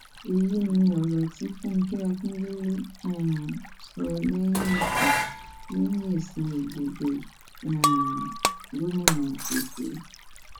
èyí ni ọrọ tí fúnge akindélé um sọ lẹyìn èsì lẹyìn èsì ìdìbò um gómìnà èkó